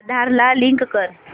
आधार ला लिंक कर